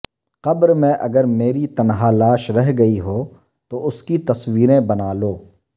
قبر میں اگر میری تنہا لاش رہ گئی ہو تو اس کی تصویریں بنا لو